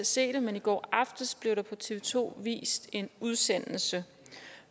se det men i går aftes blev der på tv to vist en udsendelse